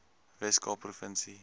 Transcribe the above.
wes kaap provinsie